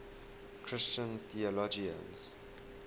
christian theologians